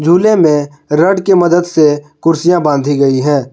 झूले में रॉड की मदद से कुर्सियां बांधी गई है।